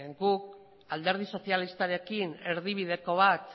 guk alderdi sozialistarekin erdibideko bat